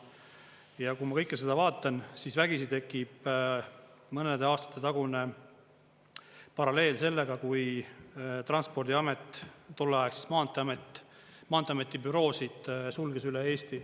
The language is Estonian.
Ja kui ma kõike seda vaatan, siis vägisi tekib mõnede aastate tagune paralleel sellega, kui transpordiamet, tolleaegne maanteeamet maanteeameti büroosid sulges üle Eesti.